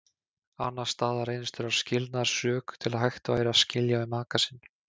Annars staðar reynist þurfa skilnaðarsök til að hægt væri að skilja við maka sinn.